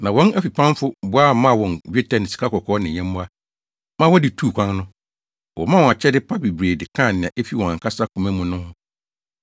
Na wɔn afipamfo boa maa wɔn dwetɛ ne sikakɔkɔɔ ne nyɛmmoa, ma wɔde tuu kwan no. Wɔmaa wɔn akyɛde pa bebree de kaa nea efi wɔn ankasa koma mu no ho.